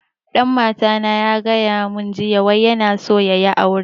Dan mata na ya gaya mun jiya wai yana so ya yi aure